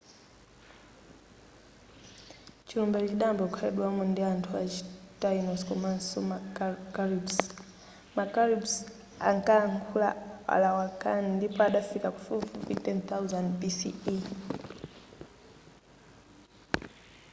chilumbachi chidayamba kukhalidwamo ndi anthu achi taínos komanso ma caribes. ma caribes ankalankhula arawakan ndipo adafika pafupifupi 10,000 bce